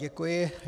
Děkuji.